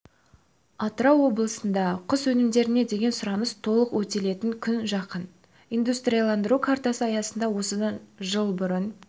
атырау облысында құс өнімдеріне деген сұраныс толық өтелетін күн жақын индустрияландыру картасы аясында осыдан жыл бұрын